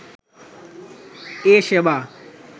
এ সেবা